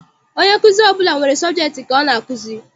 Onye nkuzi ọbụla nwere sọbjektị nke ọ na-akụzi.